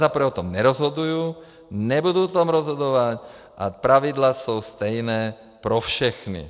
Za prvé o tom nerozhoduju, nebudu o tom rozhodovat a pravidla jsou stejná pro všechny.